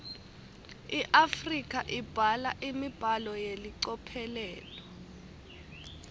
iafrika ibhala imibhalo yelicophelo